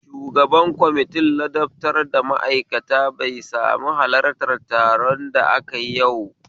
Shugaban kwamitin ladabtar da ma'aikata bai sami halarta taron da akayi yau